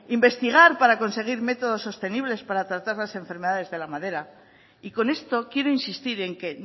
investigar para conseguir métodos sostenibles para tratar las enfermedades de la madera y con esto quiero insistir en que